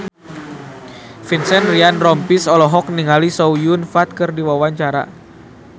Vincent Ryan Rompies olohok ningali Chow Yun Fat keur diwawancara